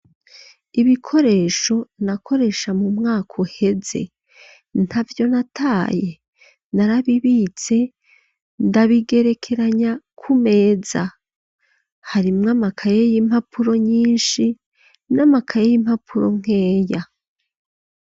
Ibikoresho, nakoresha mu mwaka uheze, ntavyo nataye; narabibitse, ndabigerekeranya ku meza, harimwo amakaye y'impapuro nyinshi, n'amakaye y'impapuro nkeya.